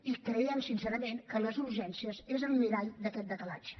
i creiem sincerament que les urgències són el mirall d’aquest decalatge